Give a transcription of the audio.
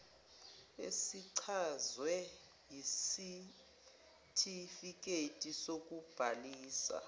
esichazwe yisitifiketi sokubhalisa